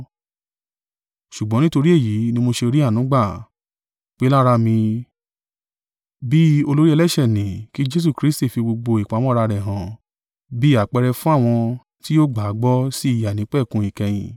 Ṣùgbọ́n nítorí èyí ni mo ṣe rí àánú gbà, pé lára mi, bí olórí ẹlẹ́ṣẹ̀ ni kí Jesu Kristi fi gbogbo ìpamọ́ra rẹ̀ hàn bí àpẹẹrẹ fún àwọn tí yóò gbà á gbọ́ sí ìyè àìnípẹ̀kun ìkẹyìn.